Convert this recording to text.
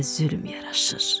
Mənə zülm yaraşır.